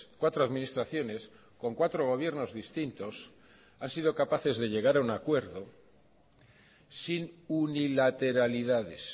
cuatro administraciones con cuatro gobiernos distintos han sido capaces de llegar a un acuerdo sin unilateralidades